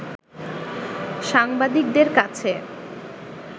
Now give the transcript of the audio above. সাংবাদিকদের কাছে